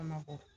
Mabɔ